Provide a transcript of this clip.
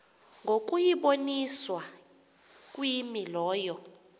ngokuyiboniswa kwimi lowo